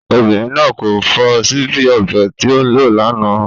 Obìnrin náà kò fọ síbí ọbẹ̀ tí o lò lánàá.